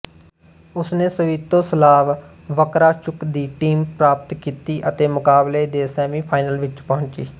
ਉਸਨੇ Sviatoslav Vakarchuk ਦੀ team ਪ੍ਰਾਪਤ ਕੀਤੀ ਅਤੇ ਮੁਕਾਬਲੇ ਦੇ ਸੈਮੀਫਾਈਨਲ ਵਿਚ ਪਹੁੰਚੀ